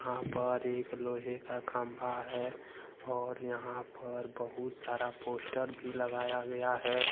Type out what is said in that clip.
यहां पर एक लोहे का खंबा है और यहां पर बहुत सारा पोस्टर भी लगाया गया है।